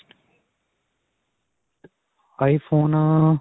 iphone ਅਅ.